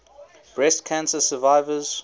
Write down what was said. breast cancer survivors